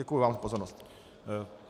Děkuji vám za pozornost.